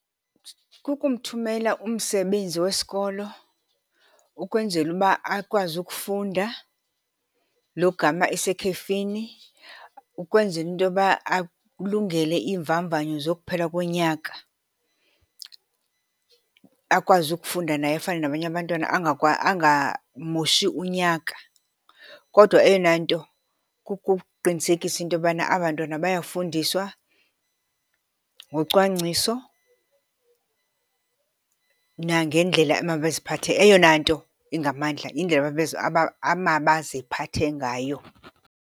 Kukumthumela umsebenzi wesikolo ukwenzela uba akwazi ukufunda logama esekhefini ukwenzela into yoba alungele iimvamvanyo zokuphela konyaka. Akwazi ukufunda naye afane nabanye abantwana angamoshi unyaka. Kodwa eyona nto kukuqinisekisa into yobana abantwana bayafundiswa ngocwangciso nangendlela emabaziphathe, eyona nto ingamandla yindlela amabaziphathe ngayo.